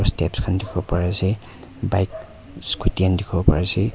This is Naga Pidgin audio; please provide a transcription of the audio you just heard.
tabs khan dikhi bo pari ase bike scooty khan dikhibo pari ase.